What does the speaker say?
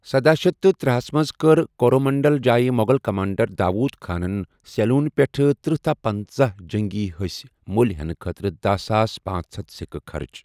سدہَ شیتھ تہٕ ترے ہَس منٛز کٔرِ کورومنڈل جایہ مو٘غل کمانڈر، داؤد خانن سیلون پٮ۪ٹھہٕ تٔرہ تا پنژہَ جنگی ہسۍ مو٘لہِ ہینہٕ خٲطرٕ دہَ ساس پانژھ ہتھ سِكہٕ خرچ۔